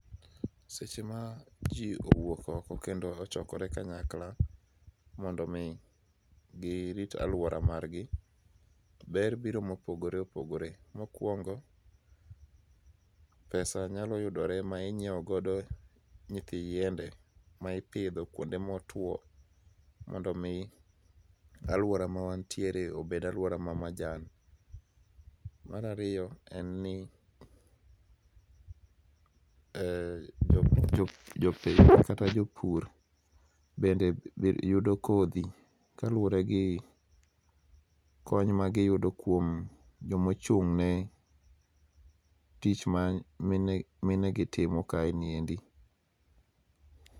Seche ma ji owuok oko kendo ochokore kanyakla mondo mi girit aluora margi, ber biro mopogore opogore. Mokuongo pesa nyalo yudore ma inyiewogo nyithi yiende ma ipidho kuonde motwo mondo mi aluora ma wantiere obed aluora ma majan. Mar ariyo en ni mmm jopith kata jopur bende yudo kodhi kaluwore gi kony magiyudo kuom jomochung' ne tich ma mine minegi timo kaeni endi